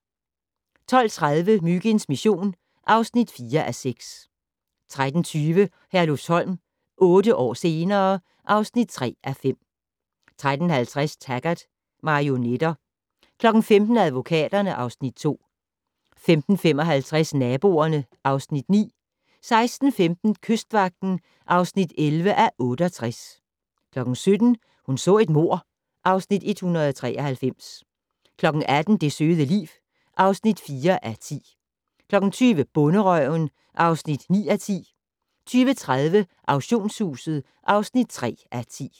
12:30: Myginds mission (4:6) 13:20: Herlufsholm - otte år senere ... (3:5) 13:50: Taggart: Marionetter 15:00: Advokaterne (Afs. 2) 15:55: Naboerne (Afs. 9) 16:15: Kystvagten (11:68) 17:00: Hun så et mord (Afs. 193) 18:00: Det søde liv (4:10) 20:00: Bonderøven (9:10) 20:30: Auktionshuset (3:10)